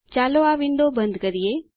ચાલો આ વિન્ડો બંધ કરીએ